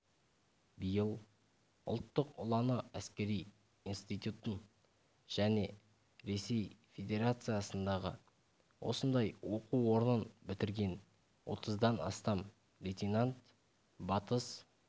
биыл ұлттық ұланы әскери институтын және ресей федерациясындағы осындай оқу орнын бітірген отыздан астам лейтенант батыс